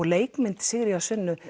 leikmynd Sigríðar Sunnu